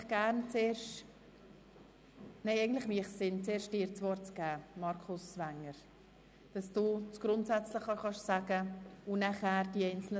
Ich gebe das Wort an den Kommissionspräsidenten für die allgemeinen Ausführungen zum ganzen Gesetz.